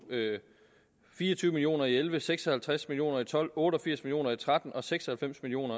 fire og tyve million og elleve seks og halvtreds million og tolv otte og firs million og tretten og seks og halvfems million